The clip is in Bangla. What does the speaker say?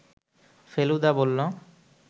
ফেলুদা বলল